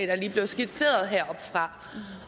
der lige blev skitseret heroppefra